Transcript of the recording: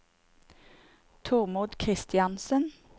Tormod Christiansen